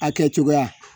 A kɛcogoya